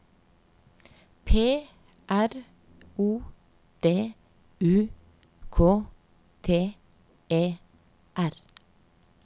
P R O D U K T E R